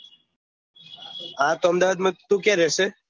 હા તો અમદાવાદ માં તું ક્યાં રેહશે